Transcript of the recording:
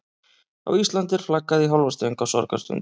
Á Íslandi er flaggað í hálfa stöng á sorgarstundum.